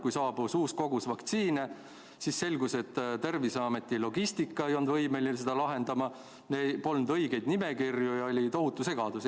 Kui saabus uus kogus vaktsiine, siis selgus, et Terviseameti logistika ei olnud võimeline seda olukorda lahendama, polnud õigeid nimekirju ja oli tohutu segadus.